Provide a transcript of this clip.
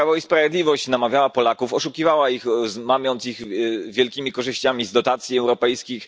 To Prawo i Sprawiedliwość namawiało Polaków, oszukiwało ich, mamiąc ich wielkimi korzyściami z dotacji europejskich.